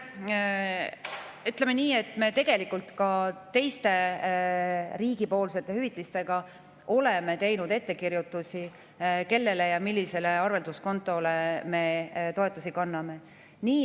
Ütleme nii, et me ka riigi teiste hüvitiste puhul oleme teinud ettekirjutusi, kellele ja millisele arvelduskontole me toetusi kanname.